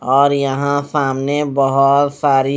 और यहां सामने बहोत सारी--